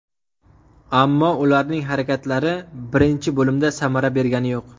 Ammo ularning harakatlari birinchi bo‘limda samara bergani yo‘q.